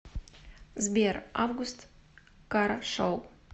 сбер август кара шоу